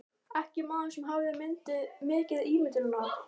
Ekki maður sem hafði mikið ímyndunarafl.